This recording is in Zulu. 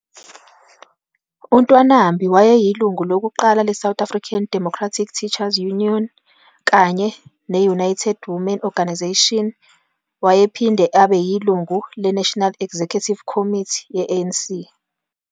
UNtwanambi wayeyilungu lokuqala leSouth African Democratic Teachers Union kanye ne-United Women Organisation. Wayephinde abe yilungu leNational Executive Committee ye-ANC.